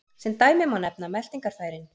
Sem dæmi má nefna meltingarfærin.